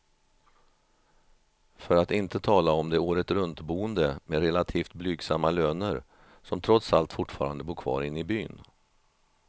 För att inte tala om de åretruntboende med relativt blygsamma löner, som trots allt fortfarande bor kvar inne i byn.